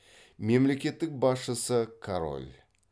мемлекеттік басшысы король